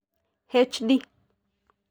HD.